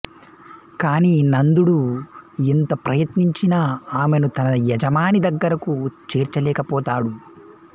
కానీ నందుడు ఎంత ప్రయత్నించినా ఆమెను తన యజమాని దగ్గరకు చేర్చలేకపోతాడు